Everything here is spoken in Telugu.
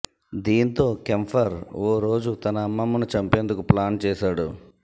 దీంతో కెంపర్ ఓ రోజు తన అమ్మమ్మను చంపేందుకు ప్లాన్ చేశాడు